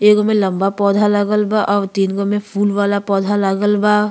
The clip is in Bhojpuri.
एगो में लम्बा पौधा लागल बा अव तीनगो में फूल वाला पौधा लागल बा।